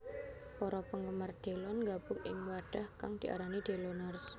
Para penggemar Delon nggabung ing wadhah kang diarani Deloners